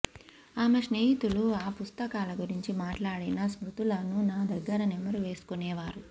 ఆమె స్నేహితులు ఆ పుస్తకాల గురించి మాట్లాడిన స్మృతులను నా దగ్గర నెమరు వేసుకొనేవారు